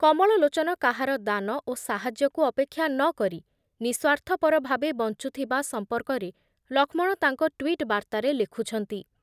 କମଳଲୋଚନ କାହାର ଦାନ ଓ ସାହାଯ୍ୟକୁ ଅପେକ୍ଷା ନ କରି ନିଃସ୍ୱାର୍ଥପର ଭାବେ ବଞ୍ଚୁଥୁବା ସଂପର୍କରେ ଲକ୍ଷ୍ମଣ ତାଙ୍କ ଟ୍ଵିଟ୍ ବାର୍ତ୍ତାରେ ଲେଖୁଛନ୍ତି ।